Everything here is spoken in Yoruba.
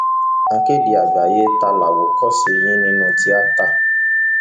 akéde àgbáyé ta làwòkọṣe yín nínú tíátá